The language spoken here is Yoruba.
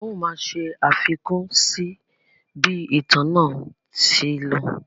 A ó máa ṣe àfikún sí bí ìtàn náà ṣe lọ.